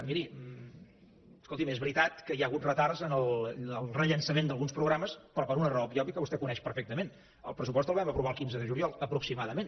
miri escolti’m és veritat que hi ha hagut retards en el rellançament d’alguns programes però per una raó obvia que vostè coneix perfectament el pressupost el vam aprovar el quinze de juliol aproximadament